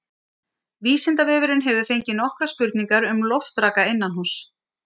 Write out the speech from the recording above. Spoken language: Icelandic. Vísindavefurinn hefur fengið nokkrar spurningar um loftraka innanhúss.